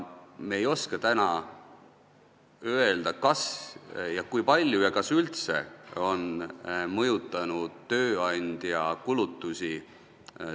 Ma ei oska täna öelda, kui palju ja kas üldse on sellised maksumuudatused mõjutanud tööandja kulutusi.